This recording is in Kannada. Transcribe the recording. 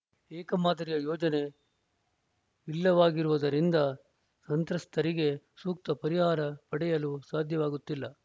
ಏಕ ಮಾದರಿಯ ಯೋಜನೆ ಇಲ್ಲವಾಗಿರುವುದರಿಂದ ಸಂತ್ರಸ್ತೆಯರಿಗೆ ಸೂಕ್ತ ಪರಿಹಾರ ಪಡೆಯಲು ಸಾಧ್ಯವಾಗುತ್ತಿಲ್ಲ